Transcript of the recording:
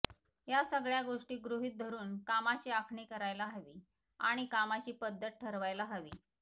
या सगळ्या गोष्टी गृहीत धरून कामाची आखणी करायला हवी आणि कामाची पद्धत ठरवायला हवी